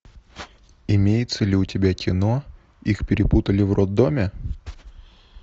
имеется ли у тебя кино их перепутали в роддоме